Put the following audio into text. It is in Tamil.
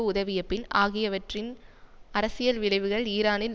உதவியபின் ஆகியவற்றின் அரசியல் விளைவுகள் ஈரானில்